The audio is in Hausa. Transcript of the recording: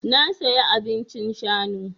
Na saya abincin shanu.